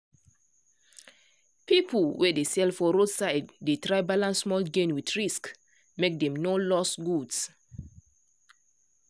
people wey dey sell for roadside dey try balance small gain with risk make dem no lose goods.